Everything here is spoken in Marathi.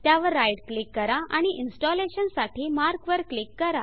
त्यावर राइट क्लिक करा आणि इन्स्टलेशन साठी मार्क वर क्लिक करा